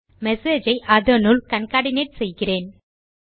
message ஐ அதனுள் concatenate செய்கிறேன்